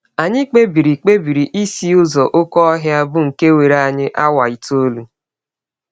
Anyị kpebiri kpebiri isi ụzọ oké ọhịa, bụ nke were anyị awa itọọlụ.